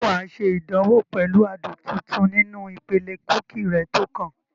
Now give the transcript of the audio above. Ṣé wà á ṣe ìdánwò pẹ̀lú adùn tuntun nínú ìpele kúkì rẹ tó kàn?